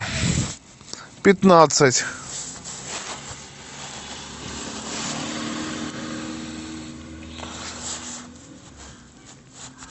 пятнадцать